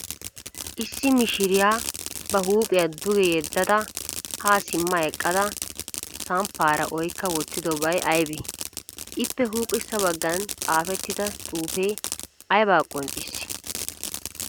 Issi mishiriya ba huuphiya duge yeddada haa simma eqqada samppaara oykka wotyidobay aybee? Ippe huuphessa baggan xaafettida duufee ayabaa qonccissii?